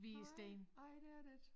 Nej nej det er det ik